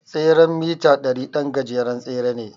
tseren mita ɗari ɗan gajeren tsere ne.